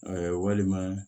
walima